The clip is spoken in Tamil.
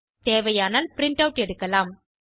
தேவையானால் பிரின்ட் ஆட் எடுக்கலாம்